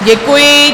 Děkuji.